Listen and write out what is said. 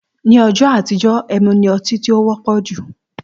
Ní õjõ àtíjö, èmú ni õtí tó wõpõ jú